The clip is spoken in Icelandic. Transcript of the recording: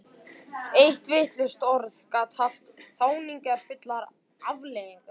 Eitt vitlaust orð gat haft þjáningarfullar afleiðingar.